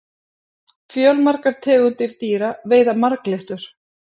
fjölmargar tegundir dýra veiða marglyttur